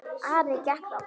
Ari gekk þangað.